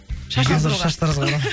қазір шаштаразға барамын